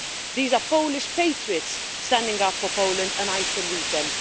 These are Polish patriots, standing up for Poland, and I salute them.